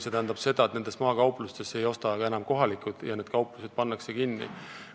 See tähendab seda, et maakauplustest ei osta enam kaupa ka kohalikud ja need kauplused pannakse kinni.